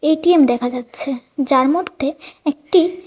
ATM দেখা যাচ্ছে যার মধ্যে একটি--